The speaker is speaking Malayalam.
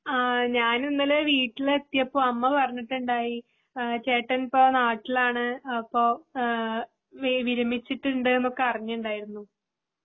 ആ ഞാൻ ഇന്നലെ വീട്ടിലെത്തിയപ്പോ അമ്മ പറഞ്ഞിട്ടുണ്ടായി ആ ചേട്ടനിപ്പോ നാട്ടിലാണ് അപ്പൊ ആ വിരമിച്ചിട്ടുണ്ടന്നൊക്കെ അറിഞ്ഞിട്ടുണ്ടായിരുന്നു.